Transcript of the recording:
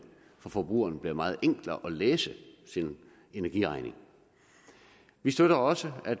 for forbrugeren bliver meget enklere at læse sin energiregning vi støtter også at